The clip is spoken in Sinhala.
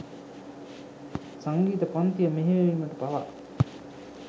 සංගීත පන්තිය මෙහෙයවීමට පවා